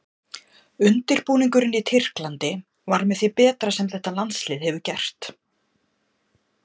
Undirbúningurinn í Tyrklandi var með því betra sem þetta landslið hefur gert.